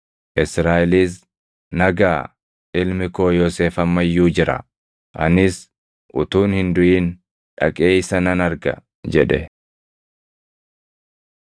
Israaʼelis, “Na gaʼa! Ilmi koo Yoosef amma iyyuu jira. Anis utuun hin duʼin dhaqee isa nan arga” jedhe.